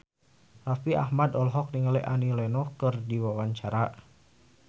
Raffi Ahmad olohok ningali Annie Lenox keur diwawancara